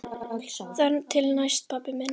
Þar til næst, pabbi minn.